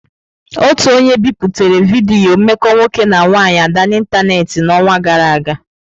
Otu onye biputere vidiyo mmekọ nwoke na nwanyị Ada n'ịntanetị n'ọnwa gara aga.